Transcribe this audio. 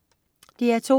DR2: